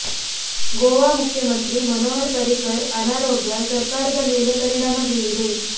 ಗೋವಾ ಮುಖ್ಯಮಂತ್ರಿ ಮನೋಹರ್ ಪರ್ರಿಕರ್ ಅನಾರೋಗ್ಯ ಸರ್ಕಾರದ ಮೇಲೆ ಪರಿಣಾಮ ಬೀರಿದೆ